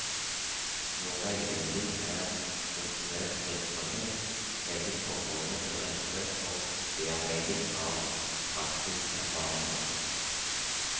Når veiledning er strukturert virksomhet legges forholdene til rette for bearbeiding av praksiserfaringer.